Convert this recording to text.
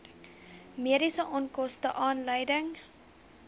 mediese onkoste aanleiding